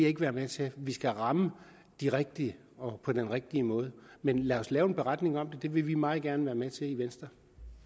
ikke være med til vi skal ramme de rigtige og på den rigtige måde men lad os lave en beretning om det vil vi meget gerne være med til i venstre